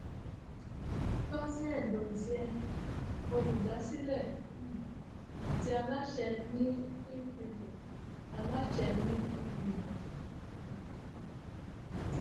ngozi edozien olùdásílẹ um àti aláṣẹ ní invivo aláṣẹ ní invivo um